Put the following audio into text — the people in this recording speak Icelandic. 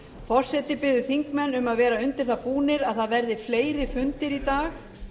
forseti biður þingmenn að verða undir það búnir að fleiri fundir verði í dag